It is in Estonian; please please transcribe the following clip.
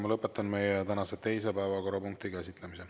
Ma lõpetan meie tänase teise päevakorrapunkti käsitlemise.